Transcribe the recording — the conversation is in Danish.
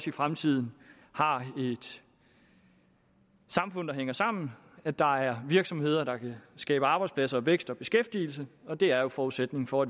i fremtiden har et samfund der hænger sammen at der er virksomheder der kan skabe arbejdspladser vækst og beskæftigelse det er jo forudsætningen for